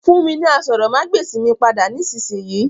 Fún mi ni àsòrọmagbesi mi pada nisinyi!